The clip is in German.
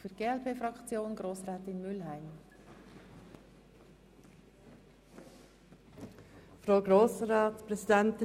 Für die glpFraktion hat Grossrätin Mühlheim das Wort.